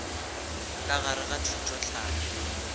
ka gare ga thuto tlhahlo